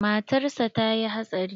Matar sa ta yi hatsari.